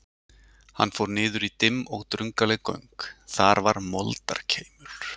Hann fór niður í dimm og drungaleg göng, þar var moldarkeimur.